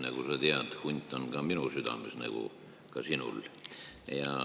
Nagu sa tead, hunt on ka minu südames, nagu sinulgi.